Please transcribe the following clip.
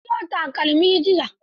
Na siyo takalmi jiya.